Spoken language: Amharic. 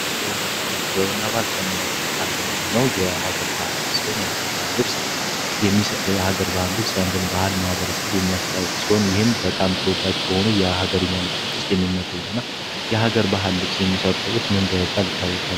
ጥበብና ባህል ጥበብና ባህል ከምንላቸው ውስጥ አንደኛ የሆነው የሀገር ባህል ልብስ ሲሆን፤ የአገር ባህል የአገር ባህል ልብስ የአንድን ማህበረሰብ የሚያስተዋውቅ ሲሆን፤ ይህም በጣም ተወዳጅ ከሆኑ የሀገረኛ ልብሶች ውስጥ የሚመደቡና የሀገር ባህል ልብስ የሚሰሩ ሰዎች ምን በመባል ይታወቃሉ?